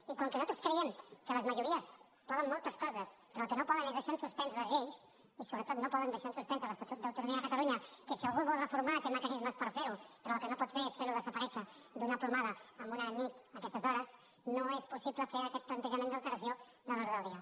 i com que nosaltres creiem que les majories poden moltes coses però el que no poden és deixar en suspens les lleis i sobretot no poden deixar en suspens l’estatut d’autonomia de catalunya que si algú el vol reformar té mecanismes per fer ho però el que no pot fer és fer lo desaparèixer d’una plomada en una nit a aquestes hores no és possible fer aquest plantejament d’alteració de l’ordre del dia